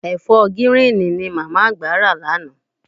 Ẹ̀fọ́ gíríìnì ni ìyá àgbà rà lánàá.